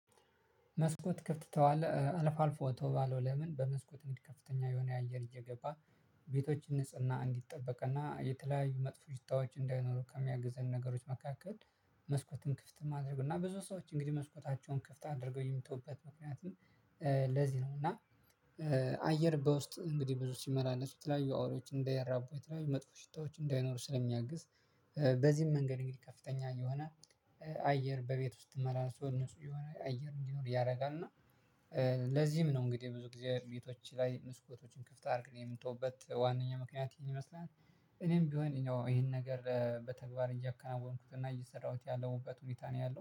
መስኮት ከፍት ትተዋለህ አልፎ አልፎ ተዋለው? ለምን በመስኮት እንዲ ከፍተኛ የሆነ አየር እየገባ ቤቶችን ንጽህና እንዲጠበቅና የተለያዩ መጥፎ ሽታዎች እንዳይኖሩ ከሚያግዘን ነገሮች መካከል። መስኮትን ክፍት ማድረጉ እና ብዙ ሰዎች እንግዲህ መስኮታቸውን ክፍት አድርገው የሚተውበት ምክንያቱም ለዚህ ነው እና አየር በውስጥ እንግዲህ ብዙ ሲመላለሱ የተለያዩ አዉሪዎች እንዳያራቡ የተለያዩ መጥፎ ሽታዎች እንዳይኖሩ ስለሚያግዝ። በዚህም መንገድ እንግዲህ ከፍተኛ የሆነ አየር በቤት ውስጥ መራራርሶ ነጹህ የሆነ አየር እንዲኖር ያደርጋል። እና ለዚህም ነው እንግዲህ ብዙ እግዚአብሔር ቤቶች ላይ መስኮቶችን ክፍት አድርግ የምንተውበት ዋናኛ ምክንያት ይመስላል። እኔም ቢሆን ይሄን ነገር በተግባር እያከናወንኩት እና እየሰራሁት ያለሁበት ሁኔታ ነው። ያለው